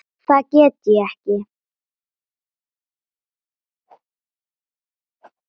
Það get ég ekki